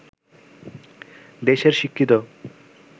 দেশের শিক্ষিত